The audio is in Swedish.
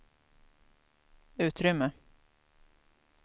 utrymme